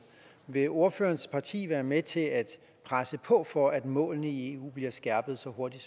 vil ordførerens parti være med til at presse på for at målene i eu bliver skærpet så hurtigt